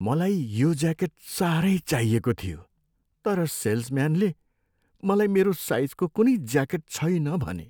मलाई यो ज्याकेट साह्रै चाहिएको थियो तर सेल्सम्यानले मलाई मेरो साइजको कुनै ज्याकेट छैन भने।